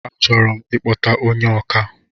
A chọrọ ikpọta ónyé ọkà